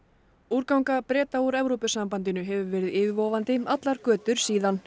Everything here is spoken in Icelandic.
úrganga Breta úr Evrópusambandinu hefur verið yfirvofandi allar götur síðan